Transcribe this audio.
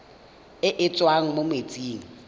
e e tswang mo metsing